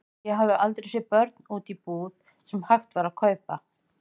Ég hafði aldrei séð börn úti í búð sem hægt var að kaupa.